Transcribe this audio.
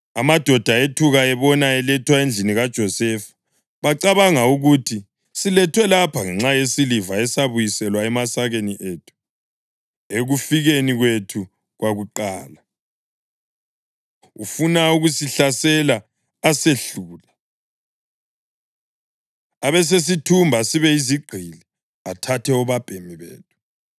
Amadoda ethuka ebona elethwa endlini kaJosefa. Bacabanga ukuthi, “Silethwe lapha ngenxa yesiliva esabuyiselwa emasakeni ethu ekufikeni kwethu kwakuqala. Ufuna ukusihlasela asehlule, abesesithumba sibe yizigqili athathe obabhemi bethu.”